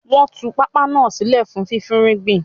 Wọ́n tún pápá náà sílẹ̀ fún fífúnrúgbìn